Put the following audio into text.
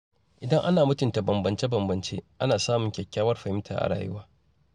Idan ana mutunta bambance-bambance, ana samun kyakkyawar fahimta a rayuwa.